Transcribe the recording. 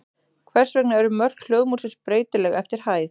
Hvers vegna eru mörk hljóðmúrsins breytileg eftir hæð?